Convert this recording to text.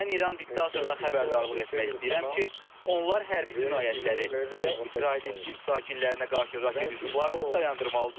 Mən İran diktatoruna xəbərdarlıq etmək istəyirəm ki, onlar hərbi cinayətləri və İsrailin din sakinlərinə qarşı raket hücumlarını dayandırmalıdırlar.